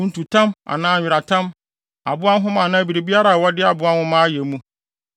kuntutam anaa nweratam, aboa nhoma anaa biribiara a wɔde aboa nwoma ayɛ mu,